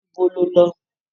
Ibo lọ lo?